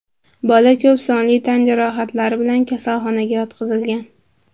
Bola ko‘p sonli tan jarohatlari bilan kasalxonaga yotqizilgan.